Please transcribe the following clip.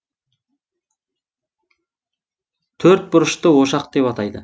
төрт бұрышты ошақ деп атайды